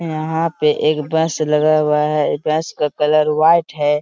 यहाँ पे एक बस लगा हुआ है ए बस का कलर वाइट है|